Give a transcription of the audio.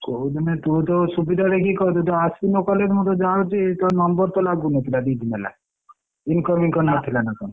କୋଉଦିନ ତୁ ତୋ ସୁବିଧା ଦେଖି କହିଦଉଛୁ ଅଶୁଣୁ college ମୁଁ ତ ଜାଣୁଛି ତୋ number ତ ଲାଗୁନଥିଲା ଦିଦିନ ହେଲା incoming କଣ ନଥିଲା?